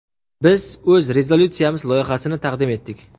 Biz o‘z rezolyutsiyamiz loyihasini taqdim etdik.